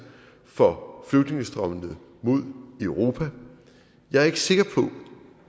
for flygtningestrømmene mod europa jeg er ikke sikker på